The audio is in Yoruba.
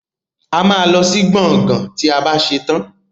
Ama ló sì gboôgan tí àbá ṣetan